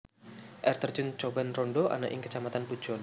Air terjun Coban Rondo ana ing Kacamatan Pujon